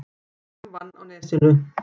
Fram vann á Nesinu